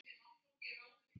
Það er skarð fyrir skildi.